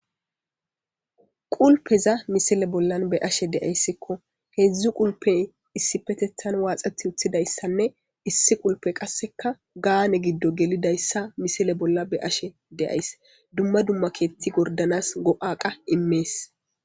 Qulpeza misile bollan be ashe deayssikko heedzdzu qulpe issi petethan waaxeti uththidayssanne issi qulpe qasseka gaane giddo gelidayssa misile bolla be ashe deays dumma dumma keetti gordanas go'a qa immees.